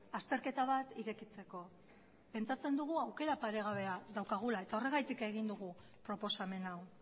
azterketa bat irekitzeko pentsatzen dugu aukera paregabea dugula eta horregatik egin dugu proposamen hau